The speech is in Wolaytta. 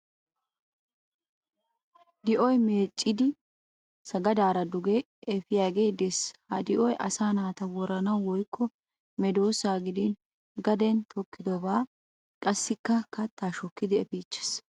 Di'oy meeccidi sagadaara duge efiyaagee Des. Ha di'oy asaa naata woranawu woyikko medoossaa gidin garden tokkidobaa qassikka keettaa shokkidi efiichches.